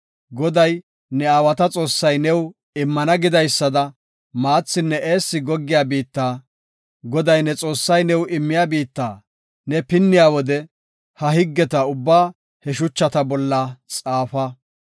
Goday, ne aawata Xoossay new immana gidaysada maathinne eessi goggiya biitta, Goday ne Xoossay new immiya biitta ne pinniya wode ha higgeta ubbaa he shuchata bolla xaafa.